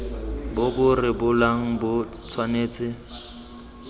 bo bo rebolang bo tshwanetse